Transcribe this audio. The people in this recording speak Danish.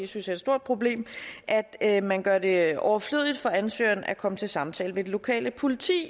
synes er et stort problem at at man gør det overflødigt for ansøgeren at komme til samtale ved det lokale politi